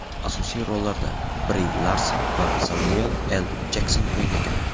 Asosiy rollarni Bri Larson va Semyuel L. Jekson o‘ynagan.